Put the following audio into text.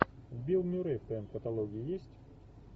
билл мюррей в твоем каталоге есть